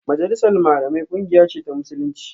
Majalisar Malamai kungiya ce ta Musulunci